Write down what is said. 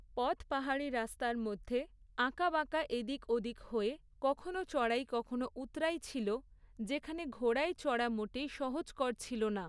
পথ পাহাড়ি রাস্তার মধ্যে, আঁকা বাঁকা এদিক ওদিক হয়ে, কখনো চড়াই কখনো উৎরাই ছিল, যেখানে ঘোড়ায় চড়া মোটেই সহজকর ছিল না।